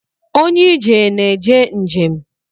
Onye ije na-eje njem